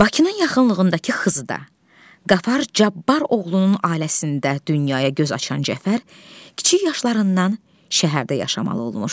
Bakının yaxınlığındakı Xızıda Qafar Cabbar oğlunun ailəsində dünyaya göz açan Cəfər, kiçik yaşlarından şəhərdə yaşamalı olmuşdu.